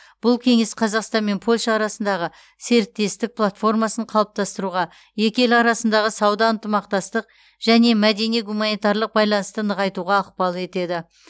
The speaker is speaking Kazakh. бұл кеңес қазақстан мен польша арасындағы серіктестік платформасын қалыптастыруға екі ел арасындағы сауда ынтымақтастық және мәдени гуманитарлық байланысты нығайтуға ықпал етеді